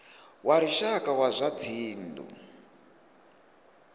wa lushaka wa zwa dzinnu